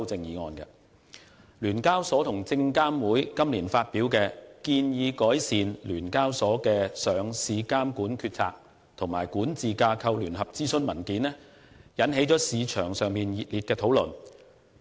香港聯合交易所有限公司和證券及期貨事務監察委員會今年發表的"建議改善香港聯合交易所有限公司的上市監管決策及管治架構"聯合諮詢文件，引起市場熱烈討論。